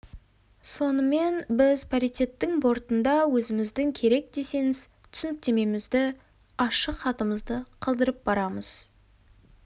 сонымен біз паритеттің бортында өзіміздің керек десеңіз түсініктемемізді ашық хатымызды қалдырып барамыз